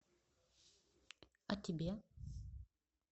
а тебе